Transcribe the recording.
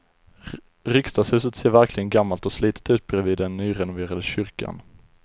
Riksdagshuset ser verkligen gammalt och slitet ut bredvid den nyrenoverade kyrkan.